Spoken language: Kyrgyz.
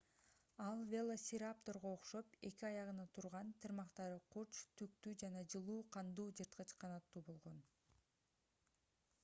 ал велоцирапторго окшоп эки аягына турган тырмактары курч түктүү жана жылуу кандуу жырткыч канаттуу болгон